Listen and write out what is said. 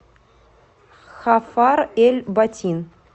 хафар эль батин